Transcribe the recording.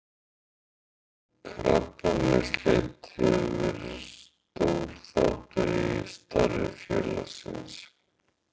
Krabbameinsleit hefur verið stór þáttur í starfi félagsins.